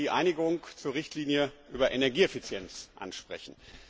Ich möchte die Einigung zur Richtlinie über Energieeffizienz ansprechen.